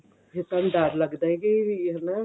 ਫੇਰ ਤੇ ਡਰ ਲੱਗਦਾ ਕੇ ਵੀ ਹਣਾ